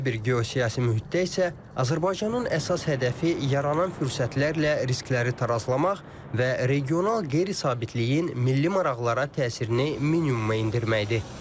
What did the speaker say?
Belə bir geosiyasi mühitdə isə Azərbaycanın əsas hədəfi yaranan fürsətlərlə riskləri tarazlamaq və regional qeyri-sabitliyin milli maraqlara təsirini minimuma endirməkdir.